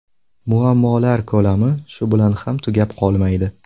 Muammolar ko‘lami shu bilan ham tugat qolmaydi.